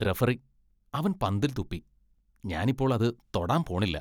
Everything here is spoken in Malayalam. റഫറി, അവൻ പന്തിൽ തുപ്പി. ഞാൻ ഇപ്പോൾ അത് തൊടാൻ പോണില്ല.